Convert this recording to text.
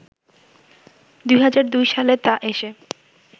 ২০০২ সালে তা এসে